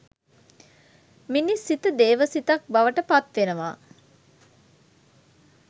මිනිස් සිත දේව සිතක් බවට පත්වෙනවා